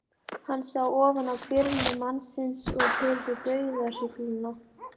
Hann sá ofan á hvirfil mannsins og heyrði dauðahrygluna.